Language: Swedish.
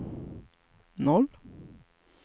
noll